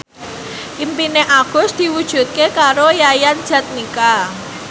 impine Agus diwujudke karo Yayan Jatnika